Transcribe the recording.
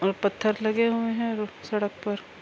یہاں پتھر لگے ہوئے ہے سڈک پر--